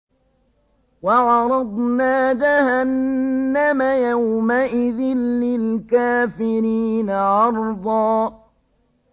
وَعَرَضْنَا جَهَنَّمَ يَوْمَئِذٍ لِّلْكَافِرِينَ عَرْضًا